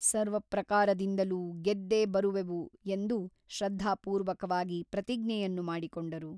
ಸರ್ವಪ್ರಕಾರದಿಂದಲೂ ಗೆದ್ದೆ ಬರುವೆವು ಎಂದು ಶ್ರದ್ಧಾಪೂರ್ವಕವಾಗಿ ಪ್ರತಿಜ್ಞೆಯನ್ನು ಮಾಡಿಕೊಂಡರು.